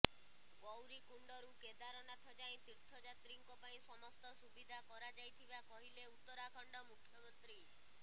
ଗୌରୀକୁଣ୍ଡରୁ କେଦାରନାଥ ଯାଏଁ ତୀର୍ଥଯାତ୍ରୀଙ୍କ ପାଇଁ ସମସ୍ତ ସୁବିଧା କରାଯାଇଥିବା କହିଲେ ଉତ୍ତରାଖଣ୍ଡ ମୁଖ୍ୟମନ୍ତ୍ରୀ